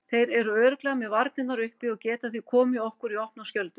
Þeir eru örugglega með varnirnar uppi og geta því komið okkur í opna skjöldu.